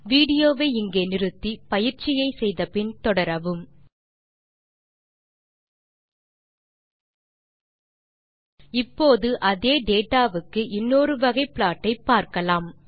video வை இங்கே pause செய்க பின் வரும் சோதனையை செய்து பார்த்து பின் வீடியோ வை மீண்டும் துவக்கவும் இப்போது அதே டேட்டா வுக்கு இன்னொரு வகை ப்ளாட் ஐ பார்க்கலாம்